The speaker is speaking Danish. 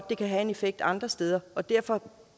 det kan have en effekt andre steder og derfor